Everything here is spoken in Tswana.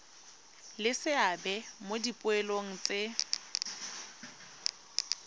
le seabe mo dipoelong tse